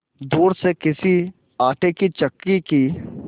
दूर से किसी आटे की चक्की की